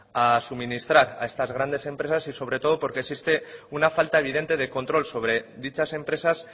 a suministrar a estas grandes empresas y sobre todo porque existe una falta evidente de control sobre dichas empresas